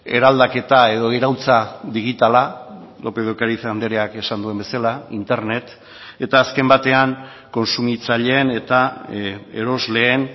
eraldaketa edo iraultza digitala lópez de ocariz andreak esan duen bezala internet eta azken batean kontsumitzaileen eta erosleen